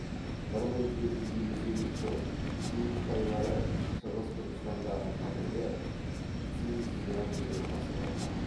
бір мың жеті жүз елу сегізінші жылы цинь қытайлары шығыс түркістандағы қазіргі синь цзянь жерін басып алды